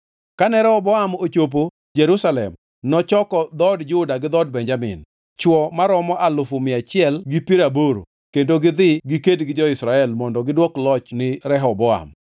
Kane Rehoboam ochopo Jerusalem nochoko dhood Juda gi dhood Benjamin, chwo maromo alufu mia achiel gi piero aboro kendo gidhi giked gi jo-Israel mondo gidwok loch ni Rehoboam.